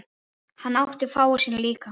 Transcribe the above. Hann átti fáa sína líka.